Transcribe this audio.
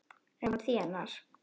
Eins og hann þénar!